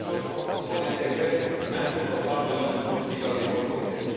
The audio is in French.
C'est quelque chose qu'il faut intégrer même quand on parle de notre politique agricole commune.